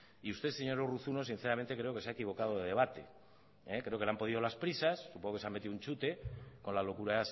y usted señor urruzuno sinceramente creo que se ha equivocado de debate creo que le han podido las prisas supongo que se ha metido un chute con la locura